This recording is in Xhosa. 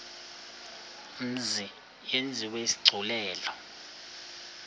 mzi yenziwe isigculelo